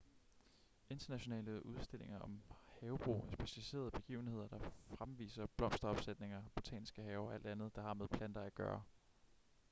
internationale udstillinger om havebrug er specialiserede begivenheder der fremviser blomsteropsætninger botaniske haver og alt andet der har med planter at gøre